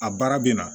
A baara bɛ na